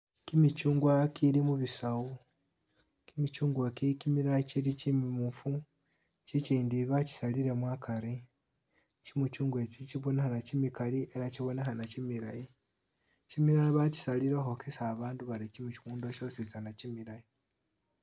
Kimichungwa ikili mubisawu kimichugwa ki kimilala chimimufu chichindi bachisalilemo akari chimichungwa chi chibonekhana chimikali elah chibonekhana chimilayi chimilala bachisalile khukhwokesa abandu bari chimichungwa kyositsana chimilayi.